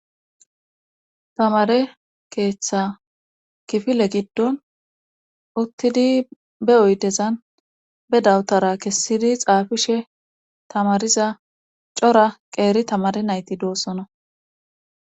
tamare keeththa kifile giddon uttidi be oydezan be dawutara kessidi xaafishe tamariza cora qeeri tamare nayti doossona